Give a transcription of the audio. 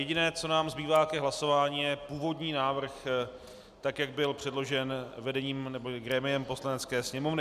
Jediné, co nám zbývá k hlasování, je původní návrh, tak jak byl předložen vedením neboli grémiem Poslanecké sněmovny.